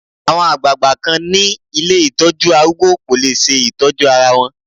Àwọn àgbagbà kan ni ilé Ìtọ́jú arúgbó kò lè ṣe Ìtọ́jú ara wọn.